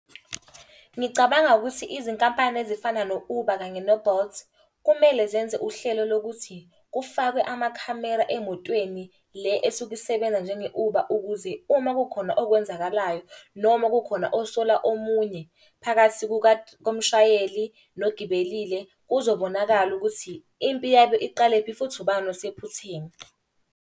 Ngicabanga ukuthi izinkampani ezifana no-Uber kanye no-Bolt, kumele zenze uhlelo lokuthi, kufakwe amakhamera emotweni le esuke isebenza njenge-Uber ukuze uma kukhona okwenzakalayo. Noma kukhona osola omunye phakathi komshayeli nogibelile kuzobonakala ukuthi, impi yabo iqalephi futhi ubani osephutheni.